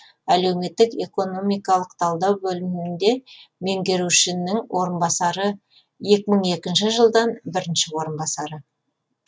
әлеуметтік экономикалық талдау бөлімінде меңгерушінің орынбасары екі мың екінші жылдан бірінші орынбасары